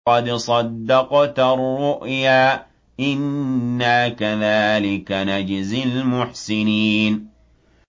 قَدْ صَدَّقْتَ الرُّؤْيَا ۚ إِنَّا كَذَٰلِكَ نَجْزِي الْمُحْسِنِينَ